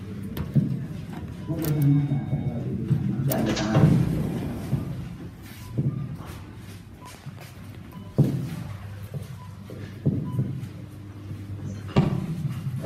Kun gosa nyaata aadaa baay'ee beekamaa fi jaallatamaa ta'eedha. Gosti nyaataa kun ancootee fi hanqaaquu irraa kan hojjetame yoo ta'u, buddeen irratti baafamee akka nyaatamuuf dhihaatee jira. Mixmixnis bira buufamee jira.